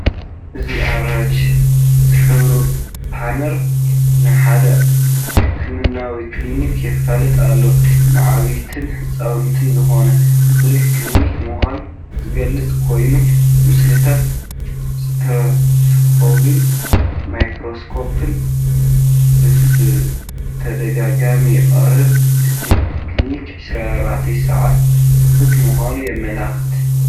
እዚ ኣራንሺ ዝሕብሩ ፓነር ንሓደ ሕክምናዊ ክሊኒክ የፋልጥ ኣሎ። ንዓበይትን ህጻናትን ዝኸውን ፍሉይ ክሊኒክ ምዃኑ ዝገልጽ ኮይኑ፡ ምስልታት ስቴቶስኮፕን ማይክሮስኮፕን ብተደጋጋሚ ይቐርብ። እቲ ክሊኒክ 24 ሰዓታት ክፉት ምዃኑ የመልክት።